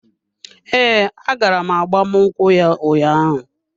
Ee, agara m agbamnkwu ya ụnyaahụ.